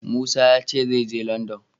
Musa ya ce zai je Landan.